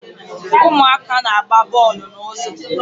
Ụmụaka na-agba bọọlụ n'ụzọ